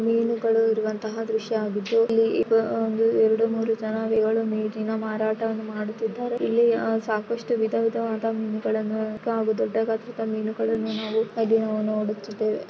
ಮೀನುಗಳು ಇರುವಂತ ದೃಶ್ಯ ಆಗಿದ್ದು ಈಗ ಒಂದು ಎರಡು ಮೂರು ಜನಗಳು ಮೀನನ್ನು ಮಾರಾಟ ಮಾಡುತ್ತಿದ್ದಾರೆ ಇಲ್ಲಿ ಸಾಕಷ್ಟು ವಿಧ ವಿಧವಾದ ಮೀನುಗಳನ್ನು ಸಣ್ಣ ಆಗು ದೊಡ್ಡ ಗಾತ್ರದ ಮೀನುಗಳನ್ನು ನಾವು ಇಲ್ಲಿ ನೋಡುತ್ತಿದ್ದೇವೆ.